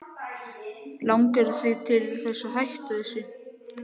Langar þig til þess að hætta þessu?